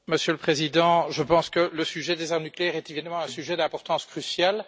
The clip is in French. Monsieur le Président, je pense que le sujet des armes nucléaires est évidemment un sujet d'importance cruciale.